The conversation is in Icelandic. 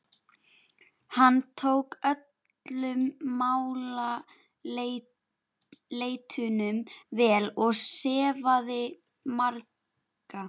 Hann tók öllum málaleitunum vel og sefaði marga.